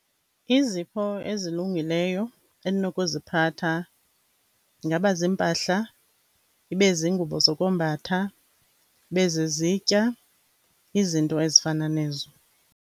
Izipho ezilungileyo endinokuziphatha ingaba ziimpahla, ibe zingubo zokombatha, ibe zizitya, izinto ezifana nezo.